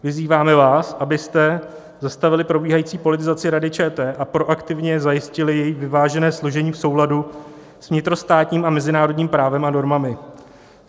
Vyzýváme vás, abyste zastavili probíhající politizaci Rady ČT a proaktivně zajistili její vyvážené složení v souladu s vnitrostátním a mezinárodním právem a normami.